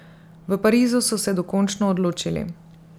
V Parizu so se dokončno odločili.